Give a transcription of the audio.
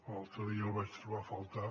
l’altre dia el vaig trobar a faltar